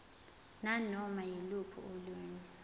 nanoma yiluphi olunye